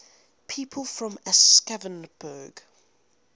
people from aschaffenburg